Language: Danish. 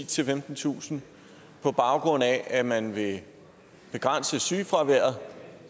til femtentusind på baggrund af at man vil begrænse sygefraværet